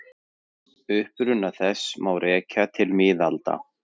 Uppruna þess má rekja til miðalda.